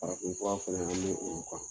Farafin fura fɛnɛ an me o kan.